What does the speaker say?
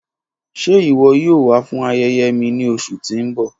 Ṣe iwọ yoo wa fun ayẹyẹ mi ni oṣu ti n bọ?